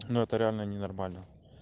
ну это реально ненормально